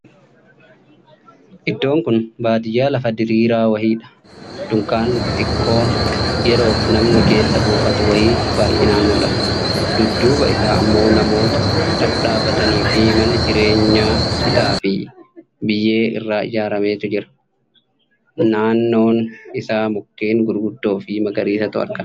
Iddoon kun baadiyyaa lafa diriiraa wayiidha. Dunkaanni xixiqqoon yeroof namni keessa buufatu wayii baay'inaan mul'ata. Dudduuba isaa ammoo namoota dhadhaabbataniifii mana jireenyaa citaa fi biyyee irraa ijaarameetu jira. Naannoon isaa mukkeen gurguddoo fi magariisatu argama.